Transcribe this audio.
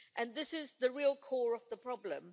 This is the real core of the problem.